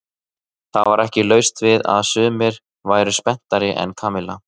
Það var ekki laust við að sumir væru spenntari en Kamilla.